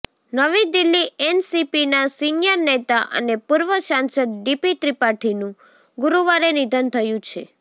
નવી દિલ્હીઃ એનસીપીના સીનિયર નેતા અને પૂર્વ સાંસદ ડીપી ત્રિપાઠીનું ગુરુવારે નિધન થયું છે